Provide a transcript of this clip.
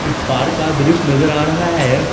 Park का दृश्य नजर आ रहा है।